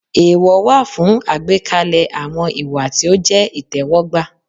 Èèwọ̀ wà fún àgbékalẹ̀ àwọn ìwà tí ó jẹ́ ìtẹ́wọ́gbà.